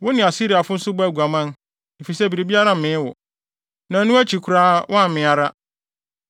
Wo ne Asiriafo nso bɔɔ aguaman, efisɛ biribiara mmee wo. Na ɛno akyi koraa woammee ara.